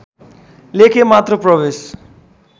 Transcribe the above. लेखे मात्र प्रवेश